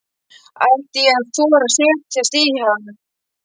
Ætti ég að þora að setjast í hann?